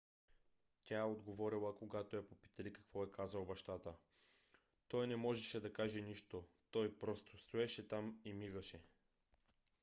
тя отговорила когато я попитали какво е казал бащата: той не можеше да каже нищо - той просто стоеше там и мигаше.